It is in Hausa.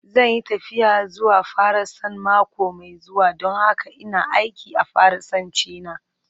Zan yi tafiya zuwa Faransa mako mai zuwa don haka ina aiki a Faransanci na.